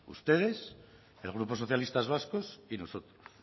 ustedes el grupo socialistas vascos y nosotros